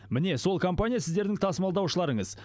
міне сол компания сіздердің тасымалдаушыларыңыз